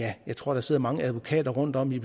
at jeg tror der sidder mange advokater rundtomkring